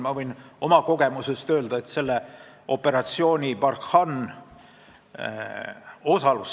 Ma võin oma kogemusest rääkida osalusest operatsioonil Barkhane.